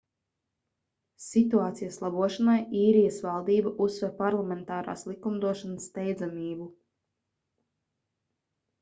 situācijas labošanai īrijas valdība uzsver parlamentārās likumdošanas steidzamību